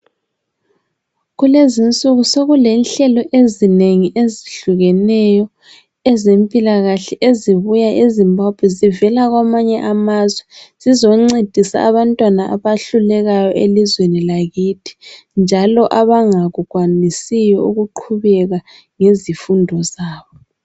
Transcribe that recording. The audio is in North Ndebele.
Kulezinsuku sekule nhlelo ezinengi ezihlukeneyo ezempilakahle ezibuya eZimbabwe zivela kwamanye amazwe, zizoncedisa abantwana abahlulekayo elizweni lakithi, njalo abangakukwanisiyo ukuqhubeka ngezifundo zabo.